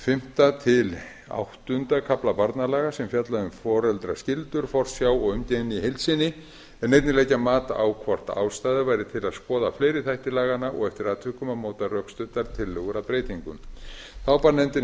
fimmta til áttunda kafla barnalaga sem fjalla um foreldraskyldur forsjá og umgengni í heild sinni einnig leggja mat á hvort ástæða væri til að skoða fleiri þætti laganna og eftir atvikum að móta rökstuddar tillögur að breytingum þá bar nefndinni